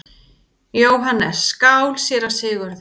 JÓHANNES: Skál, séra Sigurður!